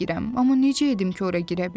Amma necə edim ki, ora girə bilim?